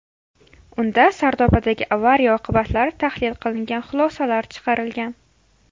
Unda Sardobadagi avariya oqibatlari tahlil qilingan, xulosalar chiqarilgan.